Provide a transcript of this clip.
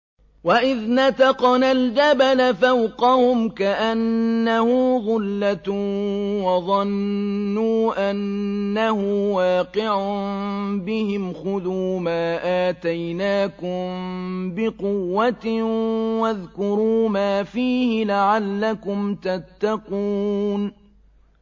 ۞ وَإِذْ نَتَقْنَا الْجَبَلَ فَوْقَهُمْ كَأَنَّهُ ظُلَّةٌ وَظَنُّوا أَنَّهُ وَاقِعٌ بِهِمْ خُذُوا مَا آتَيْنَاكُم بِقُوَّةٍ وَاذْكُرُوا مَا فِيهِ لَعَلَّكُمْ تَتَّقُونَ